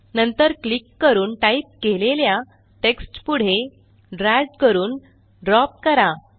नंतर क्लिक करून टाईप केलेल्या टेक्स्ट पुढे ड्रॅग करून ड्रॉप करा